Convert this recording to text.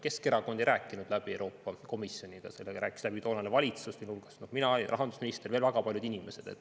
Keskerakond ei rääkinud läbi Euroopa Komisjoniga, sellega rääkis läbi toonane valitsus, sealhulgas mina, rahandusminister ja veel väga paljud inimesed.